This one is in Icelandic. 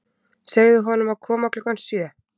Segðu honum að koma klukkan sjö.